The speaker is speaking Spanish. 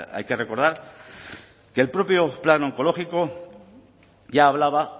hay que recordar que el propio plan oncológico ya hablaba